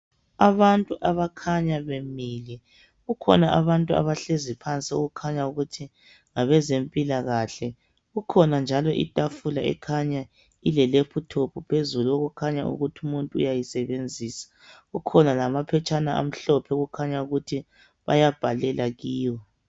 Abantu abakhanya bemile kukhona abantu abahlezi phansi okukhanya ukuthi ngabezempilakahle. Kukhona njalo itafula ekhanya ile lephuthophu phezulu okukhanya ukuthi umuntu uyayisebenzisa. Kukhona lamaphetshana amhlophe okukhanya ukuthi bayabhalela kiyo.